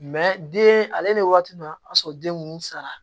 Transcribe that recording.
den ale ni waati a y'a sɔrɔ den ninnu sara